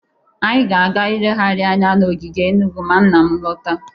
Anyị ga-aga ilegharị anya n'ogige Enugu ma nna m lọta.